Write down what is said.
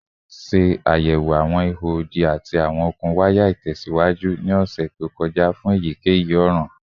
Ṣe ayẹwo awọn iho odi ati awọn okun waya itẹsiwaju ni ọsẹ to kọja fun eyikeyi ọran